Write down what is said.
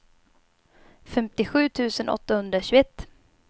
femtiosju tusen åttahundratjugoett